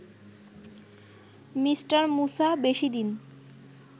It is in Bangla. মি: মূসা বেশিদিন